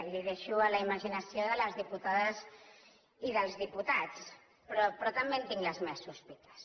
els ho deixo a la imaginació de les diputades i dels diputats però també en tinc les meves sospites